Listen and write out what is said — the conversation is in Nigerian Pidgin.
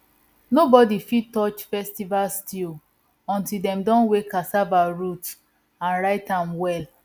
nobody fit touch festival stew until dem don weigh cassava root and write am well